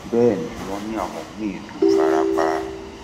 bẹẹ ni wọn ní àwọn míín tún fara pa